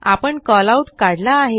आपणCallout काढला आहे